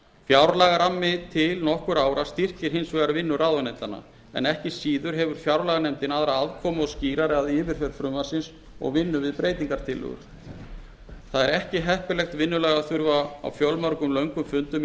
fjárlagarammi til nokkurra ára styrkir hinsvegar vinnu ráðuneytanna en ekki síður hefur fjárlaganefndin aðra aðkomu og skýrari að yfirferð frumvarpsins og vinnu við breytingartillögur það er ekki heppilegt vinnulag að þurfa á fjölmörgum löngum fundum í